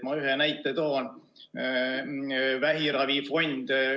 Ma ühe näite toon: vähiravifond.